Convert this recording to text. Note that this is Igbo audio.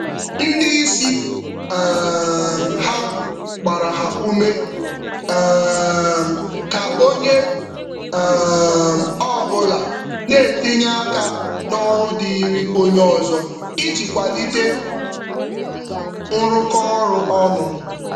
Otu ndị ndu gbara ume maka ọrụ n’etiti ngalaba iji kwado nyocha ọrụ ka ukwuu.